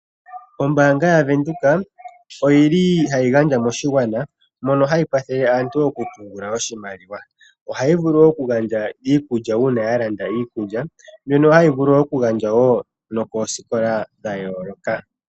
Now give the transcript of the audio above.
Ombaanga yaVenduka ohayi gandja moshigwana mono hayi kwathele aantu okupungula oshimaliwa. Ohayi vulu okugandja iikulya uuna ya landa iikulya, mbyoka hayi vulu okugandja koosikola dha yooloka.